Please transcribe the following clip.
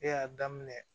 Ne y'a daminɛ